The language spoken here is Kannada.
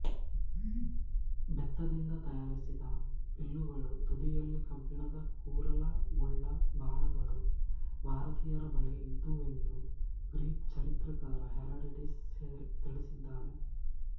ಬೆತ್ತದಿಂದ ತಯಾರಿಸಿದ ಬಿಲ್ಲುಗಳೂ ತುದಿಯಲ್ಲಿ ಕಬ್ಬಿಣದ ಕೂರಲಗುಳ್ಳ ಬಾಣಗಳೂ ಭಾರತೀಯರ ಬಳಿ ಇದ್ದುವೆಂದು ಗ್ರೀಕ್ ಚರಿತ್ರಕಾರ ಹೆರಾಡಟೀಸ್ ತಿಳಿಸಿದ್ದಾನೆ